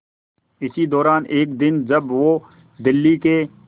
इसी दौरान एक दिन जब वो दिल्ली के